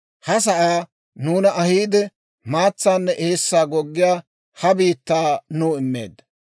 Ha sa'aa nuuna ahiide, maatsaanne eessaa goggiyaa ha biittaa nuw immeedda.